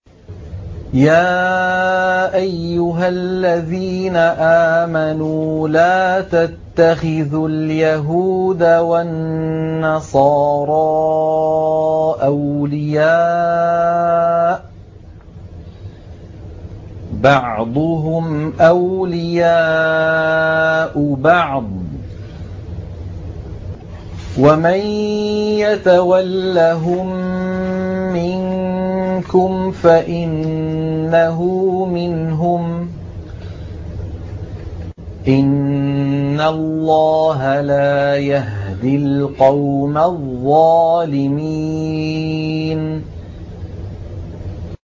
۞ يَا أَيُّهَا الَّذِينَ آمَنُوا لَا تَتَّخِذُوا الْيَهُودَ وَالنَّصَارَىٰ أَوْلِيَاءَ ۘ بَعْضُهُمْ أَوْلِيَاءُ بَعْضٍ ۚ وَمَن يَتَوَلَّهُم مِّنكُمْ فَإِنَّهُ مِنْهُمْ ۗ إِنَّ اللَّهَ لَا يَهْدِي الْقَوْمَ الظَّالِمِينَ